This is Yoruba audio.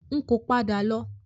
N kò padà lọ.